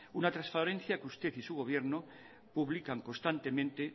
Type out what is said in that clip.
una transparencia que usted y su gobierno publican constantemente